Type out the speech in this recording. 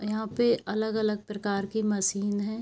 यहाँ पे अलग अलग प्रकार की मशीन है।